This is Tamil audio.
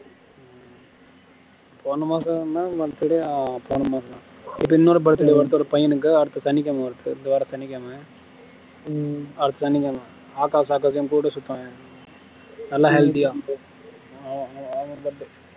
போன மாசம் தான் birthday இப்போ இனொரு birthday வருது ஒரு பையனுக்கு அடுத்த சனிகிழமை வருது இந்த வரம் சனிகிழமை அடுத்த சனிகிழமை ஆஹ் ஆகாஷ் ஆகாஷ்னு கூட சுத்துவனே நல்ல healthy யா